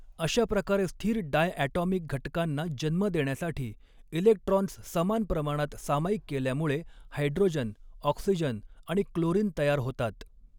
अशाप्रकारे स्थिर डायॲटॉमिक घटकांना जन्म देण्यासाठी इलेक्ट्रॉन्स समान प्रमाणात सामायिक केल्यामुळे हायड्रोजन ऑक्सिजन आणि क्लोरीन तयार होतात.